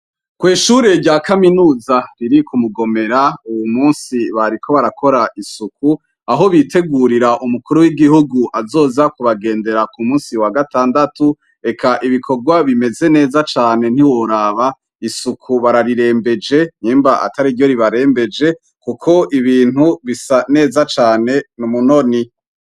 Kw'ishure rya kaminuza riri Kumugomera uwu munsi bariko barakora isuku aho bitegurira umukuru w'igihugu azoza kubagendera Ku munsi wagatandatu eka ibikogwa bimeze neza cane ntiworaba, isuku bararirembeje nyimba atariryo ribarembeje kuko ibintu bisa neza cane n'umunoni.